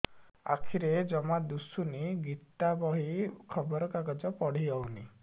ଆଖିରେ ଜମା ଦୁଶୁନି ଗୀତା ବହି ଖବର କାଗଜ ପଢି ହଉନି